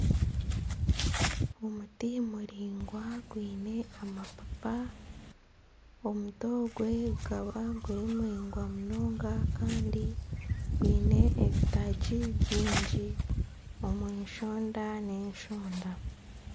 Omuti muringwa gwine amapapa. Omuti ogwo gukaba guri muringwa munonga kandi gwine ebitaagi byingi omu nshonda n'enshonda